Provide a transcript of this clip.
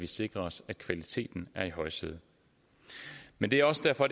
sikrer sig at kvaliteten er i højsædet men det er også derfor